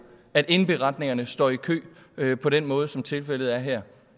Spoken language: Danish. at indberetningerne står i kø på den måde som tilfældet er her